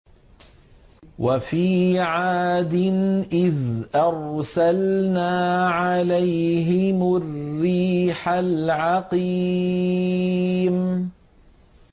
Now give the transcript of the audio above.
وَفِي عَادٍ إِذْ أَرْسَلْنَا عَلَيْهِمُ الرِّيحَ الْعَقِيمَ